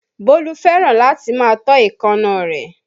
Bólú fẹ́ràn láti máa tọ́ èékánná rẹ̀